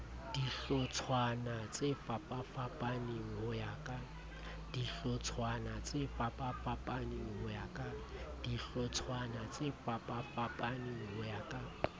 dihlotshwana tsefapafapaneng ho ya ka